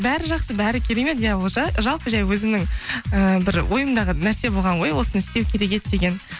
бәрі жақсы бәрі керемет иә ол жалпы жай өзімнің ііі бір ойымдағы нәрсе болған ғой осыны істеу керек еді деген